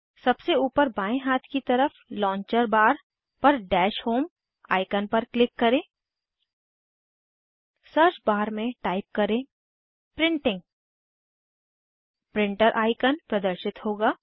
सबसे ऊपर बाएं हाथ की तरफ लांचर बार पर डैश होम आइकन पर क्लिक करें सर्च बार में टाइप करें प्रिंटिंग प्रिंटर आइकन प्रदर्शित होगा